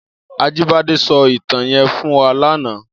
Ajibade sò itàn yèn fún wà làná